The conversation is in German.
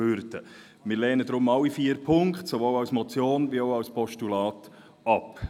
Deshalb lehnen wir alle vier Ziffern sowohl als Motion als auch als Postulat ab.